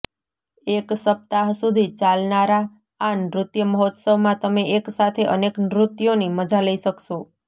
એક સપ્તાહ સુધી ચાલનારા આ નૃત્ય મહોત્સવમાં તમે એક સાથે અનેક નૃત્યોની મજા લઇ શકશો